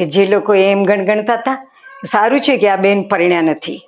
કે જે લોકો એમ ગણતા હતા ને કે સારું છે આ બેન પરણ્યા નથી.